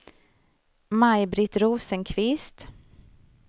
Maj-Britt Rosenqvist